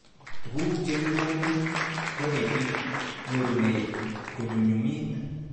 Tuguk cheikoni konetik nyorunet konyumnyumit